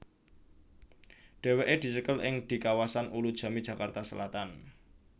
Dhéwéké dicekel ing di kawasan Ulujami Jakarta Selatan